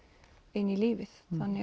inn í lífið